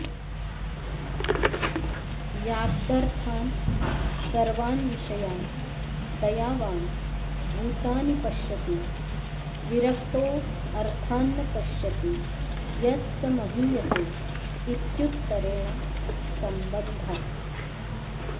याक्दर्थान् सर्वान्विषयान् दयावान् भूतानि पश्यति विरक्तोऽर्थान्न पश्यति यः स महीयते इत्युत्तरेण संबन्धः